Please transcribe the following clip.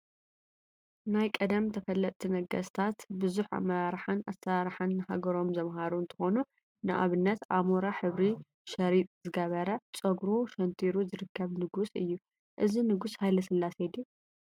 ናይ ቀደም ተፈለጥቲ ነገስታት ቡዙሕ አመራርሓን አሰራርሓን ንሃገሮም ዘምሃሩ እንትኮኑ፤ ንአብነት አሞራ ሕብሪ ሸሪጥ ዝገበረ ፀጉሩ ሸንቲሩ ዝርከብ ንጉስ እዩ፡፡ እዚ ንጉስ ሃይለስላሴ ድዩ?